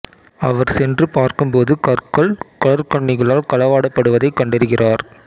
அவர் சென்று பார்க்கும் போது கற்கள் கடற்கன்னிகளால் களவாடப்படுவதைக் கண்டறிகிறார்